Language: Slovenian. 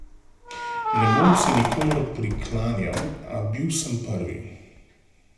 Ne bom se nikomur priklanjal, a bil sem prvi.